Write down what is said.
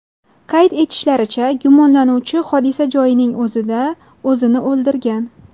Qayd etishlaricha, gumonlanuvchi hodisa joyining o‘zida o‘zini o‘ldirgan.